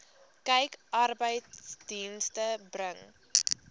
kyk arbeidsdienste bring